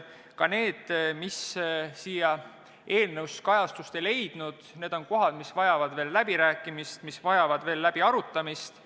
Ka need asjad, mis siin eenõus kajastust ei leidnud, vajavad veel läbirääkimist ja -arutamist.